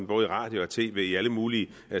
både radio og tv i alle mulige